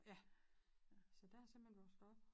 Ja så der er jeg simpelthen vokset op